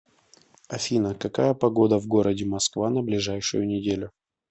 афина какая погода в городе москва на ближайшую неделю